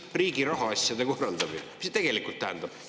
"Riigi rahaasjade korraldamine" – mis see tegelikult tähendab?